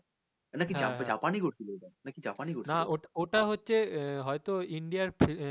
নাকি জা জাপানে করছিল ওটা নাকি জাপানে করছিল